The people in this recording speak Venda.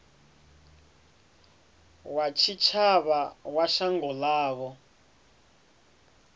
wa tshitshavha wa shango ḽavho